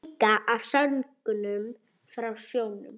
Líka af söngnum frá sjónum.